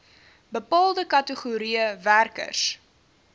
bepaalde kategorieë werkers